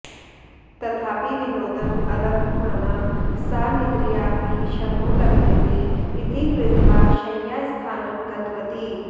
तथापि विनोदम् अलभमाना सा निद्रयाऽपि शमो लभ्येत इति कृत्वा शय्यास्थानं गतवती